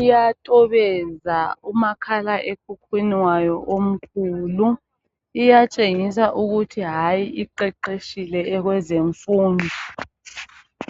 iyatobeza kumakhala ekhukhwini wayo omkhulu. Iyatshengisa ukuthi hayi iqeqetshile kwezemfundo.